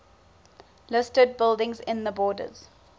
listed buildings in the borders